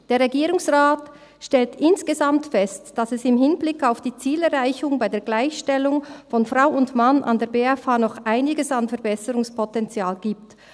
«Der Regierungsrat stellt insgesamt fest, dass es im Hinblick auf die Zielerreichung bei der Gleichstellung von Frau und Mann an der BFH noch einiges an Verbesserungspotenzial gibt.